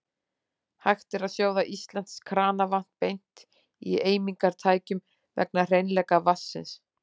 Hægt er að sjóða íslenskt kranavatn beint í eimingartækjum vegna hreinleika vatnsins.